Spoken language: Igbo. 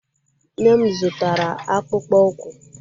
Nne m zụtara akpụkpọ ụkwụ.